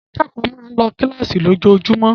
Àwọn akẹ́kọ̀ọ́ máa ń lọ kíláàsì ní ojoojúmọ́